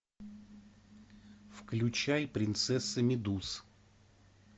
включай принцесса медуз